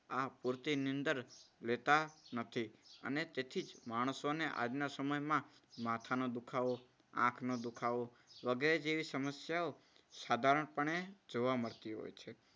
આ પૂરતી નીંદર લેતા નથી અને તેથી જ માણસોને આજના સમયમાં માથાનો દુખાવો, આંખનો દુખાવો, વગેરે જેવી સમસ્યાઓ સાધારણપણે જોવા મળતી હોય છે.